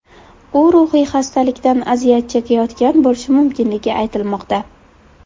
U ruhiy xastalikdan aziyat chekayotgan bo‘lishi mumkinligi aytilmoqda.